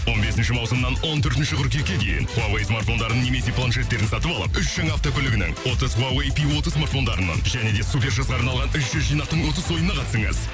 он бесінші маусымнан он төртінші қыркүйекке дейін хуавей смартфондарын немесе планшеттерін сатып алып үш жаңа автокөлігінің отыз хуавей пи отыз смартфондарынан және де супер жазға арналған үш жүз жинақтың ұтыс ойынына қатысыңыз